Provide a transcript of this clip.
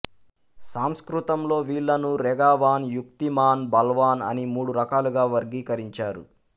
సంస్కృతంలో వీళ్ళను రెగావాన్ యుక్తిమాన్ బల్వాన్ అని మూడు రకాలుగా వర్గీకరించారు